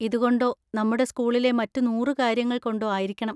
ഇതുകൊണ്ടോ നമ്മുടെ സ്‌കൂളിലെ മറ്റ് നൂറ് കാര്യങ്ങൾ കൊണ്ടോ ആയിരിക്കണം.